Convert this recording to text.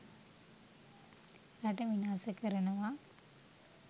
රට විනාස කරනවා